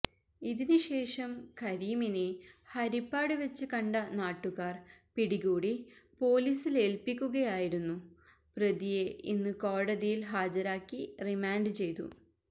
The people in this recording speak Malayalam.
ഇതിന് ശേഷം കരീമിനെ ഹരിപ്പാട് വെച്ച് കണ്ട നാട്ടുകാര് പിടികൂടി പോലീസിലേല്പ്പിക്കുകയായിരുന്നു പ്രതിയെ ഇന്ന് കോടതിയിൽ ഹാജരാക്കി റിമാൻഡ് ചെയ്തു